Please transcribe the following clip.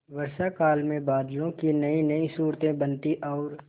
वर्षाकाल में बादलों की नयीनयी सूरतें बनती और